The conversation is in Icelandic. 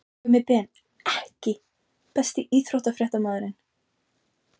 Gummi Ben EKKI besti íþróttafréttamaðurinn?